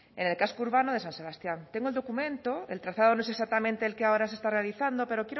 en el caso urbano de san sebastián tengo el documento el trazado no es exactamente el que ahora se está realizando pero